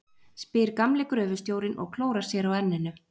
spyr gamli gröfustjórinn og klórar sér á enninu.